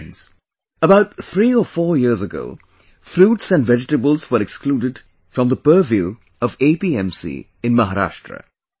Friends, about three or four years ago fruits and vegetables were excluded from the purview of APMC in Maharashtra